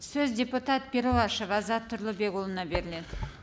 сөз депутат перуашев азат тұрлыбекұлына беріледі